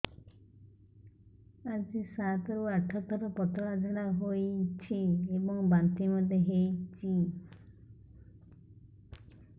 ଆଜି ସାତରୁ ଆଠ ଥର ପତଳା ଝାଡ଼ା ହୋଇଛି ଏବଂ ବାନ୍ତି ମଧ୍ୟ ହେଇଛି